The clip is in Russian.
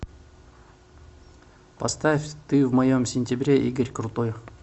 поставь ты в моем сентябре игорь крутой